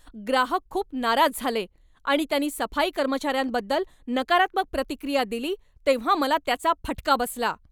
ग्राहक खूप नाराज झाले आणि त्यांनी सफाई कर्मचार्यांबद्दल नकारात्मक प्रतिक्रिया दिली तेव्हा मला त्याचा फटका बसला.